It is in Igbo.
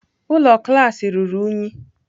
Ụlọ klaasị ruru unyi.